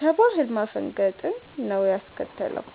ከባህል ማፈንገጥን ነው ያስከተለው።